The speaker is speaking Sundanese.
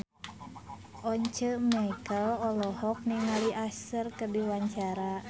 Once Mekel olohok ningali Usher keur diwawancara